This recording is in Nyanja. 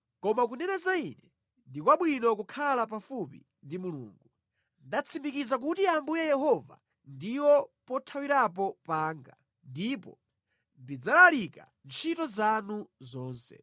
Koma kunena za Ine ndi kwabwino kukhala pafupi ndi Mulungu. Ndatsimikiza kuti Ambuye Yehova ndiwo pothawirapo panga ndipo ndidzalalika ntchito zanu zonse.